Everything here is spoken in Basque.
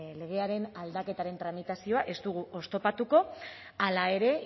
legearen tramitazioa ez dugu oztopatuko hala ere